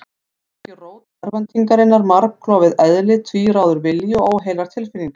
Var ekki rót örvæntingarinnar margklofið eðli, tvíráður vilji og óheilar tilfinningar?